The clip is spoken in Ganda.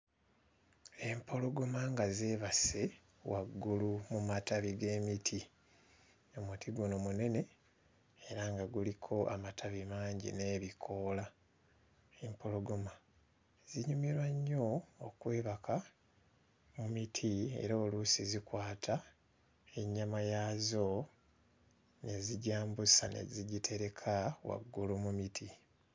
Empologoma nga zeebase waggulu mu matabi g'emiti. Omuti guno munene era nga guliko amatabi mangi n'ebikoola. Empologoma zinyumirwa nnyo okwebaka mu miti era oluusi zikwata ennyama yaazo ne zigyambusa ne zigitereka waggulu mu miti.